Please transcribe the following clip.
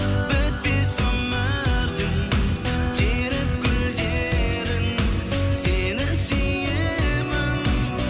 бітпес өмірдің теріп гүлдерін сені сүйемін